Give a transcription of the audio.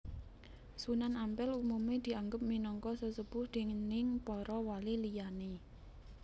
Sunan Ampel umume dianggep minangka sesepuh déning para wali liyane